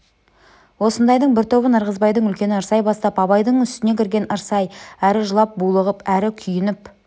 осындайдың бір тобын ырғызбайдың үлкені ырсай бастап абайдың үстіне кірген ырсай әрі жылап булығып әрі күйініп